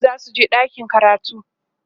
yaran zasu je ɗakin karatu